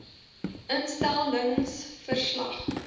instel lings verslag